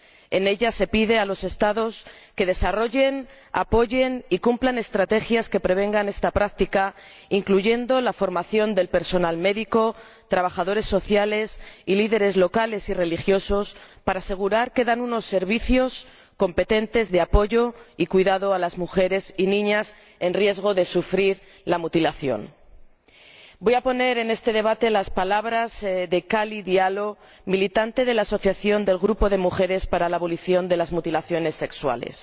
En ella se pide a los Estados que desarrollen, apoyen y cumplan estrategias que prevengan esta práctica, incluyendo la formación del personal médico, trabajadores sociales y líderes locales y religiosos, para asegurar que dan unos servicios competentes de apoyo y cuidado a las mujeres y niñas con riesgo de sufrir la mutilación. Voy a traer a este debate las palabras de Khadi Diallo, militante de la asociación del Grupo de Mujeres para la Abolición de las Mutilaciones Sexuales